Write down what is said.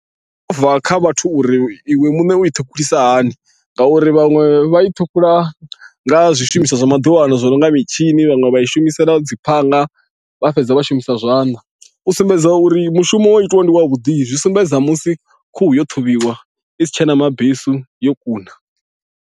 Zwo to ubva kha vhathu uri iwe muṋe u i ṱhukhulisa hani ngauri vhaṅwe vha i ṱhukhula nga zwishumiswa zwa maḓuvha ano zwi no nga mitshini vhaṅwe vha i shumisela dzi phanga vha fhedza vha shumisa zwanḓa u sumbedza uri mushumo wa itiwa ndi wa vhuḓi zwi sumbedza musi khuhu yo ṱhavhiwa i si tshena mabesu yo kuna.